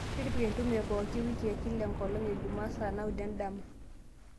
tipika entumo e pooki o wiki are enkolong' e jumaa saa naudo endama